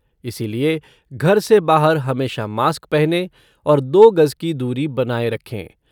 इसीलिए घर से बाहर हमेशा मास्क पहनें और दो गज की दूरी बनाए रखें।